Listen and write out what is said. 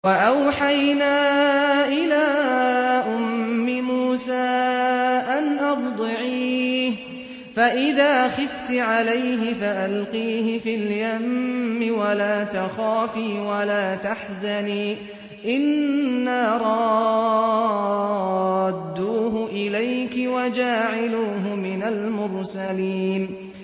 وَأَوْحَيْنَا إِلَىٰ أُمِّ مُوسَىٰ أَنْ أَرْضِعِيهِ ۖ فَإِذَا خِفْتِ عَلَيْهِ فَأَلْقِيهِ فِي الْيَمِّ وَلَا تَخَافِي وَلَا تَحْزَنِي ۖ إِنَّا رَادُّوهُ إِلَيْكِ وَجَاعِلُوهُ مِنَ الْمُرْسَلِينَ